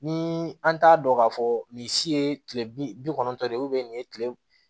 Ni an t'a dɔn k'a fɔ nin si ye kile bi kɔnɔntɔn de nin ye kile